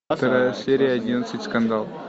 вторая серия одиннадцать скандал